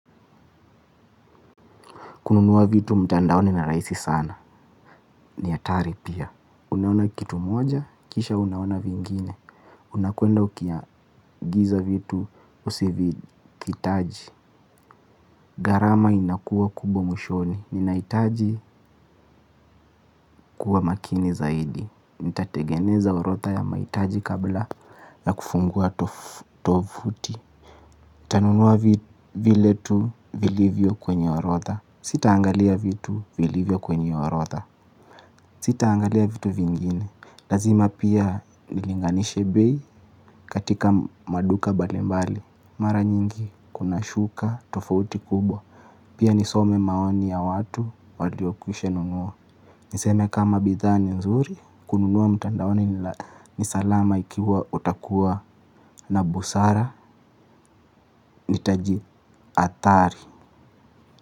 Kununua vitu mtandaoni ni raisi sana. Ni atari pia. Unaona kitu moja, kisha unaona vingine. Unakuenda ukiagiza vitu, usiviitaji. Garama inakuwa kubwa mwishoni. Ninaitaji kuwa makini zaidi. Nitatengeneza orotha ya mahitaji kabla ya kufungua tovuti. Tanunua vile tu vilivyo kwenye orotha. Sitaangalia vitu vilivyo kwenye orotda. Sitaangalia vitu vingine, lazima pia nilinganishe bei katika maduka balimbali. Mara nyingi kuna shuka tofauti kubwa, pia nisome maoni ya watu waliokusha nunua. Niseme kama bidhaa ni nzuri, kununua mtandaoni ni salama ikiwa utakuwa na busara nitaji athari.